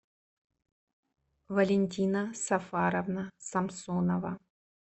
валентина сафаровна самсонова